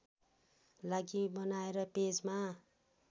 लागि बनाएर पेजमा